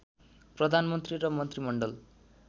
प्रधानमन्त्री र मन्त्रीमण्डल